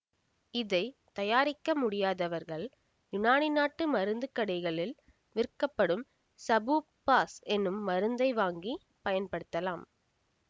இதை தயாரிக்க முடியாதவர்கள் யுனானி நாட்டு மருந்துக்கடைகளில் விற்கப்படும் சபூப் பாஸ் என்னும் மருந்தை வாங்கிப் பயன்படுத்தலாம்